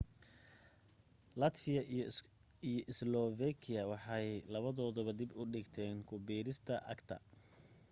latvia iyo slovakia waxay labadooduba dib u dhigeen ku biiristooda acta